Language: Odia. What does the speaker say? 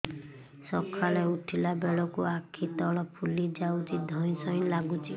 ସକାଳେ ଉଠିଲା ବେଳକୁ ଆଖି ତଳ ଫୁଲି ଯାଉଛି ଧଇଁ ସଇଁ ଲାଗୁଚି